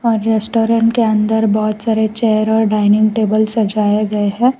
और रेस्टोरेंट के अंदर बहुत सारे चेयर और डाइनिंग टेबल सजाए गए हैं।